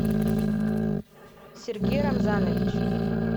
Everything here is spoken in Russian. сергей рамзанович